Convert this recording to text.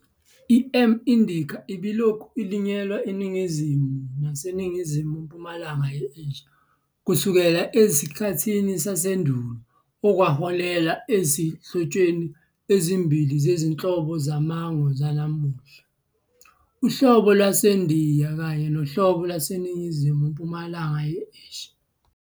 I-"M. indica" ibilokhu ilinywa ENingizimu naseNingizimu-mpumalanga ye-Asia kusukela ezikhathini zasendulo okwaholela ezinhlotsheni ezimbili zezinhlobo zamango zanamuhla - "uhlobo lwaseNdiya" kanye "nohlobo lwaseNingizimu-mpumalanga ye-Asia".